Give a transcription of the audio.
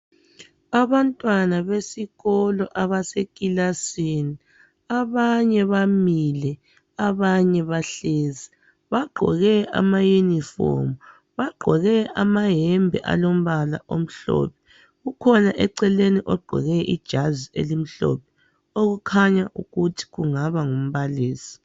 Abantwana besikolo, abasekilasini. Abanye bamile, abanye bahlezi. Bagqoke amayunifomu. Bagqoke amayembe alombala omhlophe. Ukhona eceleni, gqoke ijazi elimhlophe. Okukhanya ukuthi kungaba ngumbalisi.